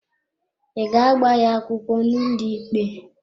Ị ga-agba ya akwụkwọ n'ụlọikpe?